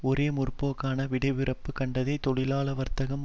ஒரே முற்போக்கான விடையிறுப்பு கண்டத்தை தொழிலாள வர்த்தகம்